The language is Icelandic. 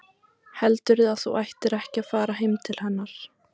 Heldurðu að þú ættir ekki að fara til hennar?